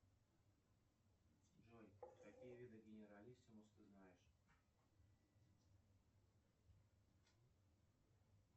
джой какие виды генералиссимуса ты знаешь